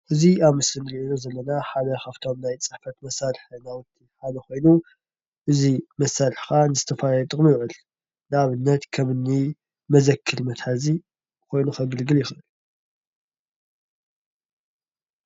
እዚ ኣብ ምስሊ ዝርአ ዘሎ ሓደ ካፍቶም ናይ ፅሕፈት መሳርሒ ናውቲ ዝበሃል ኾይኑ እዚ መሳርሒ ኸዓ ንዝተፈላላዩ ጥቅሚ ይውዕል። ንኣብነት ኸምኒ መዘክር መትሐዚ ክኾን ይኽእል።